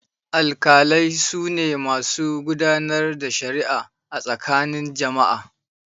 Alkalai su ne masu gudanar da shari'a a tsakanin jama'a.